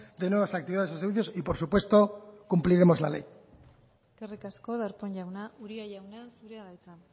de nuevas actividades y servicios y por supuesto cumpliremos la ley eskerrik asko darpón jauna uria jauna zurea da hitza